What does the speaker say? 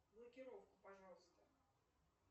блокировку пожалуйста